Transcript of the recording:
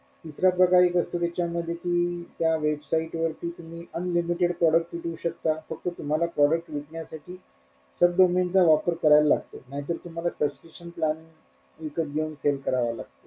दुसरा प्रकार एक असतो त्याच्या मध्ये कि त्या website वरती तुम्ही unlimited product विकू शकता फक्त तुम्हला product विकण्यासाठी sub domain चा वापर करायला लागतो नाहीतर तुम्हाला subscription plan विकत घेऊन sell कराव लागत.